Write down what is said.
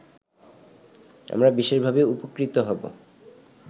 আমরা বিশেষভাবে উপকৃত হব